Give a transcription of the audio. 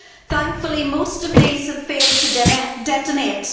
Thankfully, most of these have failed to detonate.